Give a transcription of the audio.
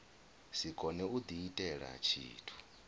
si kone u diitela tshithu